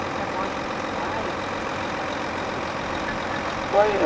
Sobre a morte do seu pai, eh você quer falar alguma coisa? Foi... Foi